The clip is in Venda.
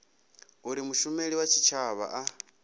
uri mushumeli wa tshitshavha a